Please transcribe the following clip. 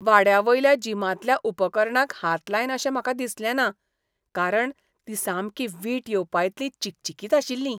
वाड्यावयल्या जिमांतल्या उपकरणांक हात लायन अशें म्हाका दिसलेंना कारण तीं सामकीं वीट येवपाइतलीं चिकचिकीत आशिल्लीं.